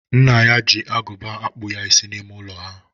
Nna ya ji agụba akpụ ya isi n'ime ụlọ ha.